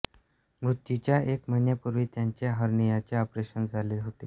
मृत्यूच्या एक महिन्यापूर्वी त्यांचे हर्नियाचे ऑपरेशन झाले होते